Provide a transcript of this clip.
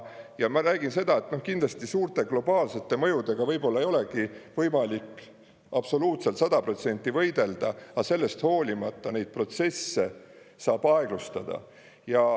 Ja ma räägin seda, et kindlasti suurte globaalsete mõjudega võib-olla ei olegi võimalik absoluutselt 100% võidelda, aga sellest hoolimata neid protsesse saab aeglustada.